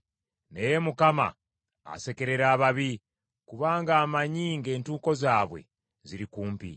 Naye Mukama asekerera ababi, kubanga amanyi ng’entuuko zaabwe ziri kumpi.